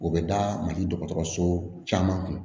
O bɛ da mali dɔgɔtɔrɔso caman kun